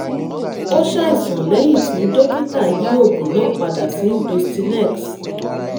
ó ṣàìsàn lẹ́yìn tí dókítà yí oògùn náà padà sí dostinex